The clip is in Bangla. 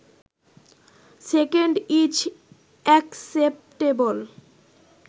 second is acceptable